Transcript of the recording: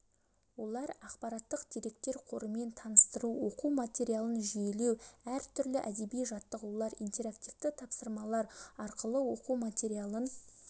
олар ақпараттық деректер қорымен таныстыру оқу материалын жүйелеу әр түрлі әдеби-жаттығулар интерактивті тапсырмалар арқылы оқу материалын